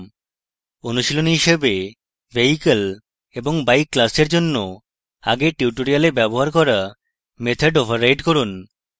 অনুশীলনী হিসাবে vehicle এবং bike ক্লাসের জন্য আগের টিউটোরিয়ালে ব্যবহার করা মেথড override করুন